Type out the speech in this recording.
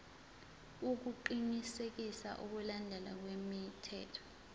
ukuqinisekisa ukulandelwa kwemithetho